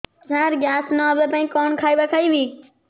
ସାର gas ନ ହେବା ପାଇଁ କଣ ଖାଇବା ଖାଇବି